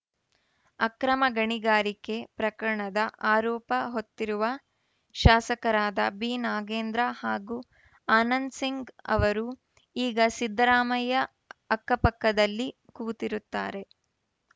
ಅಕ್ರಮ ಗಣಿಗಾರಿಕೆ ಪ್ರಕರಣದ ಆರೋಪ ಹೊತ್ತಿರುವ ಶಾಸಕರಾದ ಬಿನಾಗೇಂದ್ರ ಹಾಗೂ ಆನಂದಸಿಂಗ್‌ ಅವರು ಈಗ ಸಿದ್ದರಾಮಯ್ಯ ಅಕ್ಕಪಕ್ಕದಲ್ಲಿ ಕೂತಿರುತ್ತಾರೆ